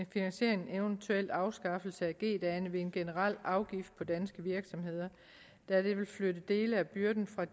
finansiere en eventuel afskaffelse af g dagene med en generel afgift for danske virksomheder da det vil flytte dele af byrden fra